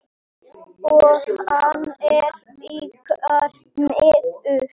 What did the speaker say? Og hann er ykkar maður.